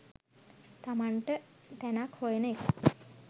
තමන්ට තැනක් හොයන එකයි.